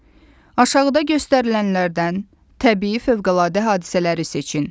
Aşağıda göstərilənlərdən təbii fəvqəladə hadisələri seçin.